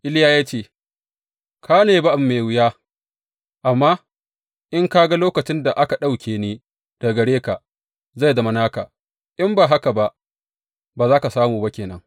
Iliya ya ce, Ka nemi abu mai wuya, amma in ka ga lokacin da aka ɗauke ni daga gare ka, zai zama naka, in ba haka ba, ba za ka samu ba ke nan.